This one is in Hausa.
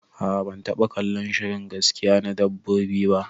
Aa ban taba kallon shirin gaskiya na dabbobi ba